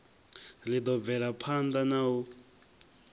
ri ḓo bvelaphanḓa na u